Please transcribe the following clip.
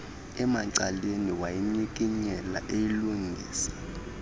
emacaleni wayinyikinyela eyilungisa